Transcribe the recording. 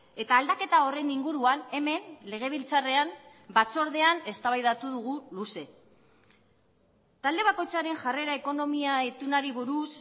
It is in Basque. eta aldaketa horren inguruan hemen legebiltzarrean batzordean eztabaidatu dugu luze talde bakoitzaren jarrera ekonomia itunari buruz